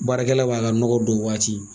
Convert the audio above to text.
Baarakɛla b'a ka nɔgɔ don waati